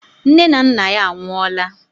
Nne na nna ya anwụọla.